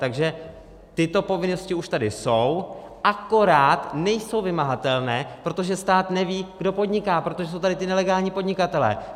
Takže tyto povinnosti už tady jsou, akorát nejsou vymahatelné, protože stát neví, kdo podniká, protože jsou tady ti nelegální podnikatelé.